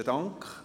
Besten Dank.